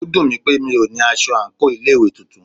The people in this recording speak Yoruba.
Ó dùnmí pé mí o ní aṣọ àńkò ilé ìwé titun.